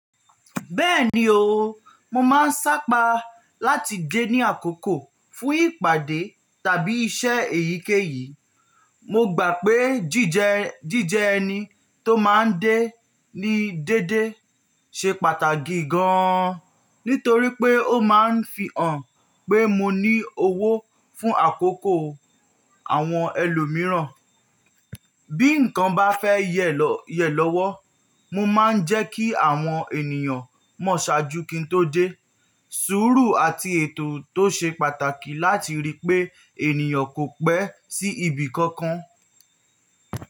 Bẹ́ẹ̀ni o, mo máa ń sápa láti dé ní àkókò fún ìpàdé tàbí iṣẹ́ èyíkéyìí. Mo gbà pé jíjẹ ẹni tó máa ń dé ní dédé ṣe pàtàkì gan nítorí pé ó máa ń fi hàn pé mo ní owó fún àkókò àwọn ẹlòmíràn. Bí nǹkan bá fẹ́ yẹ̀ lọ́wọ́, mo máa ń jẹ́ kí àwọn ènìyàn mọ̀ ṣáájú kí n tó dé. Sùúrù àti ètò tó ṣe pàtàkì láti rí pé ènìyàn kò pẹ́ sí ibì kankan.